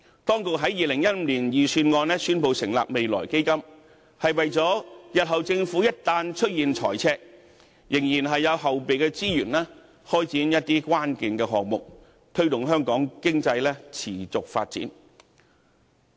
當局在2015年的財政預算案中宣布成立未來基金，是為了日後政府一旦出現財赤，仍然有後備資源開展關鍵項目，推動香港經濟持續發展。